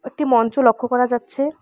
একটি মঞ্চ লক্ষ্য করা যাচ্ছে।